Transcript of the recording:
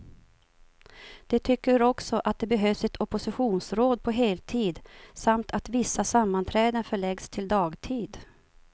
De tycker också att det behövs ett oppositionsråd på heltid, samt att vissa sammanträden förläggs till dagtid.